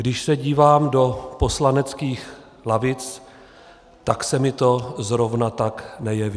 Když se díváme do poslaneckých lavic, tak se mi to zrovna tak nejeví.